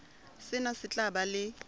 sena se tla ba le